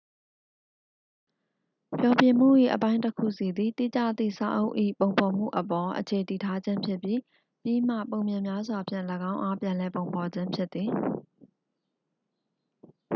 ဖျော်ဖြေမှု၏ အပိုင်းတစ်ခုစီသည် တိကျသည့်စာအုပ်၏ ပုံဖော်မှုအပေါ် အခြေတည်ထားခြင်းဖြစ်ပြီး ပြီးမှ ပုံပြင်များစွာဖြင့် ၎င်းအား ပြန်လည်ပုံဖော်ခြင်းဖြစ်သည်